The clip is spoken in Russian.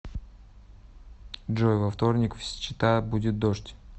джой во вторник в счета будет дождь